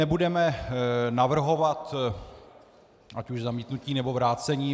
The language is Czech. Nebudeme navrhovat ať už zamítnutí, nebo vrácení.